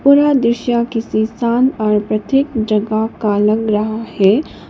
और यह दृश्य किसी शांत और प्रत्येक जगह का लग रहा है।